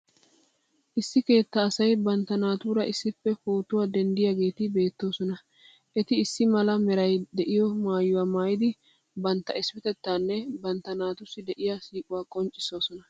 Issi keettaa asay bantta naatuura issippe phootuwa denddiyageeti beettoosona. Eti issi mala merayi de'iyo maayuwa maayidi bantta issipetettaanne bantta naatussi de'iya siiquwaa qonccissoosona.